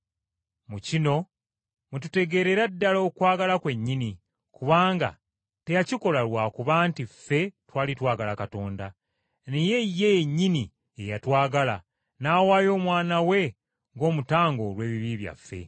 Mu kino mwe tutegeerera ddala okwagala kwennyini, kubanga teyakikola lwa kuba nti ffe twali twagala Katonda, naye ye yennyini ye yatwagala, n’awaayo Omwana we ng’omutango olw’ebibi byaffe.